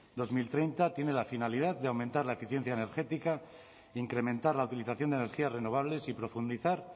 dos mil treinta tiene la finalidad de aumentar la eficiencia energética de incrementar la utilización de energías renovables y profundizar